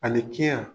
Ani kiya